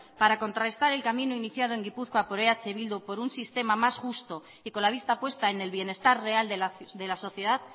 para contrarrestar el camino iniciado en gipuzkoa por eh bildu por un sistema más justo y con la vista puesta en el bienestar real de la sociedad